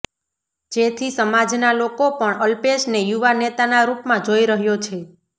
જેથી સમાજના લોકો પણ અલ્પેશને યુવા નેતાના રૂપમાં જોઈ રહ્યો છે